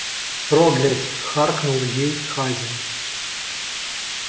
проглядь харкнул ей хазин